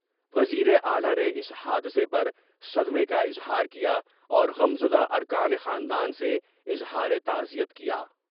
وزیراعلی نے اس حادثہ پر صدمہ کا اظہار کیا اورغم زدا ارکان خاندان سے اظہار تعزیت کیا ۔